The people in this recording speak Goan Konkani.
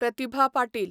प्रतिभा पाटील